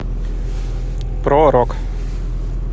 про рок